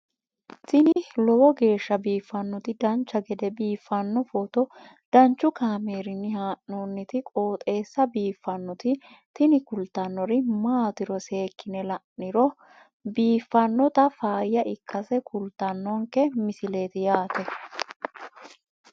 tini lowo geeshsha biiffannoti dancha gede biiffanno footo danchu kaameerinni haa'noonniti qooxeessa biiffannoti tini kultannori maatiro seekkine la'niro biiffannota faayya ikkase kultannoke misileeti yaate